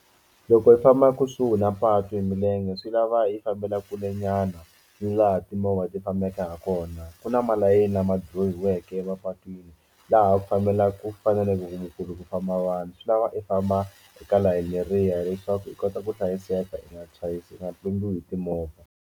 Loko hi famba kusuhi na patu hi milenge swi lava i fambela kule nyana u nga ha timovha ti fambaka ha kona ku na malayini lama droyiweke emapatwini laha ku fambelaka ku faneleke ku mukuru ku famba vanhu swi lava i famba eka layeni riha leswaku i kota ku hlayiseka eka tisayizi u nga tlumbiwa hi timovha.